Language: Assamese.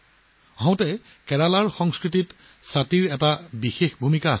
বাইদেউ কেৰেলাৰ সংস্কৃতিত ছাতিৰ বিশেষ তাৎপৰ্য আছে